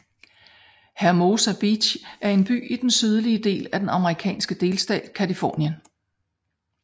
Hermosa Beach er en by i den sydlige del af den amerikanske delstat Californien